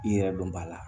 I yɛrɛ dɔn b'a la